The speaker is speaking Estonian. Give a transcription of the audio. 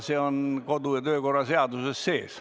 See on kodu- ja töökorra seaduses sees.